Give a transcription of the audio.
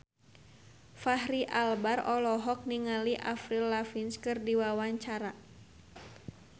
Fachri Albar olohok ningali Avril Lavigne keur diwawancara